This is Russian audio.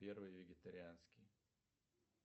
первый вегетарианский